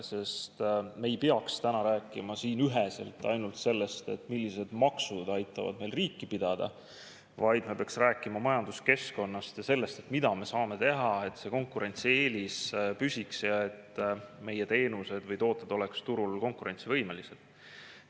Sest me ei peaks täna rääkima siin üheselt ainult sellest, millised maksud aitavad meil riiki pidada, vaid me peaksime rääkima majanduskeskkonnast ja sellest, mida me saame teha, et see konkurentsieelis püsiks ja et meie teenused või tooted oleksid turul konkurentsivõimelised.